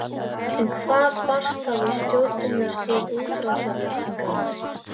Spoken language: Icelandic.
En hvað brast þá í stjórnunarstíl útrásarvíkinganna?